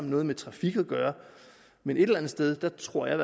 noget med trafik at gøre men et eller andet sted tror jeg